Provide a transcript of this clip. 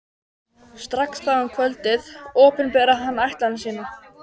Strax þá um kvöldið opinberaði hann ætlan sína.